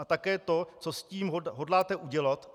A také to, co s tím hodláte udělat.